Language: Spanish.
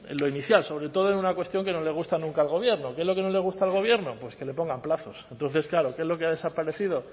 lo inicial sobre todo en una cuestión que no le gusta nunca al gobierno qué es lo que no le gusta al gobierno pues que le pongan plazos entonces claro qué es lo que ha desaparecido